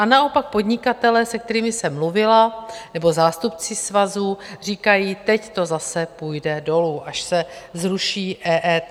A naopak podnikatelé, se kterými jsem mluvila, nebo zástupci svazů říkají, teď to zase půjde dolů, až se zruší EET.